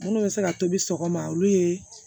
Minnu bɛ se ka tobi sɔgɔma olu ye